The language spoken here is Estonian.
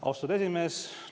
Austatud esimees!